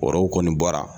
Waraw kɔni bɔra